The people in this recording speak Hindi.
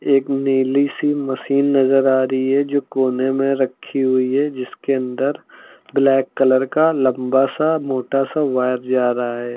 एक नीली सी मशीन नजर आ रही है जो कोने मे रखी हुई है जिसके अंदर ब्लैक कलर का लम्बा सा मोटा सा वायर जा रहा है।